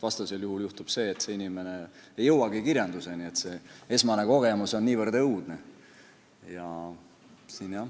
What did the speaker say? Vastasel korral juhtub, et inimene ei jõuagi kirjanduseni, sest esmane kogemus on niivõrd õudne.